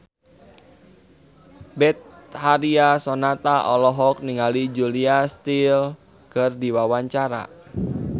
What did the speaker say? Betharia Sonata olohok ningali Julia Stiles keur diwawancara